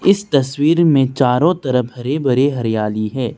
इस तस्वीर में चारों तरफ हरे भरे हरियाली है।